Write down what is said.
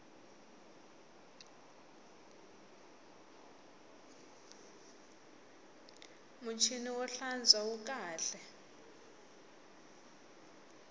muchini wo hlantswa wu kahle